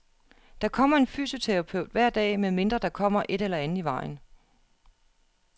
Der kommer en fysioterapeut hver dag, medmindre der kommer et eller andet i vejen..